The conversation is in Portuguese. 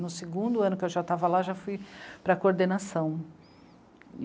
No segundo ano que eu já estava lá, já fui para a coordenação.